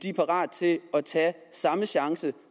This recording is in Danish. er parat til at tage samme chance